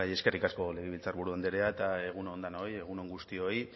eskerrik asko legebiltzarburu andrea eta egun on danoi egun on guztioi